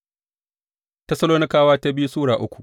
biyu Tessalonikawa Sura uku